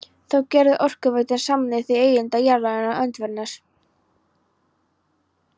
Þá gerði Orkuveitan samning við eigendur jarðarinnar Öndverðarness